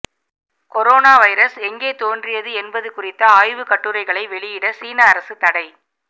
corona virus எங்கே தோன்றியது என்பது குறித்த ஆய்வு கட்டுரைகளை வெளியிட சீன அரசு தடை